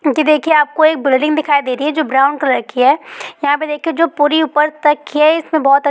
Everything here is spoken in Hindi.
क्योंकि देखिए आप को एक बिल्डिंग दिखाई दे रही है जो ब्राउन कलर की है यहाँ पे देखिए जो पूरी ऊपर तक की है इसमे बहुत--